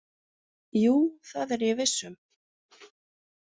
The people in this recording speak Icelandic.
Jú, það er ég viss um.